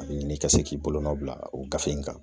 A bɛ ɲini i ka se k'i bolonɔ bila o gafe in kan .